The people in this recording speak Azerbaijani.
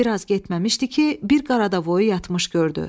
Və biraz getməmişdi ki, bir qaradavoyu yatmış gördü.